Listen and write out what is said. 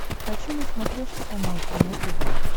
хочу на смотрешке канал кино тв